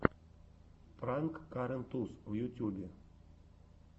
пранк карен туз в ютюбе